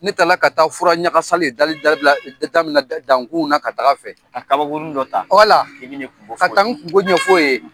Ne taara ka taa fura ɲagasa de dali dali daminɛ dankun na ka ta'a fɛ, ka kaba kurun dɔ ta ka na kungo fɔ o ye.